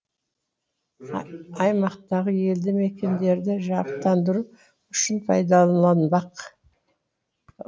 аймақтағы елді мекендерді жарықтандыру үшін пайдаланбақ